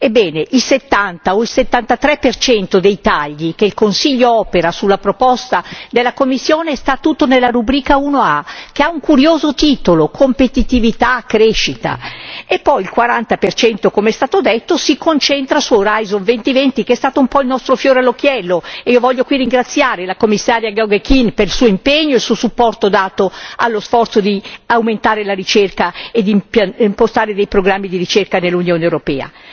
Ebbene, il 70 o il 73 per cento dei tagli che il Consiglio opera sulla proposta della Commissione sta tutto nella rubrica 1a, che ha un curioso titolo Competitività per la crescita e l'occupazione, e poi il 40 per cento, come è stato detto, si concentra su Horizon 2020, che è stato un po' il nostro fiore all'occhiello, e io voglio qui ringraziare il Commissario Geoghegan Quinn per il suo impegno e il suo supporto dato allo sforzo di aumentare la ricerca e di impostare i programmi di ricerca dell'Unione europea.